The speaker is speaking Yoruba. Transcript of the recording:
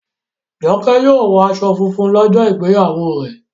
Joke yíò wò aṣọ fúnfún lójó ìgbéyàwó rẹ.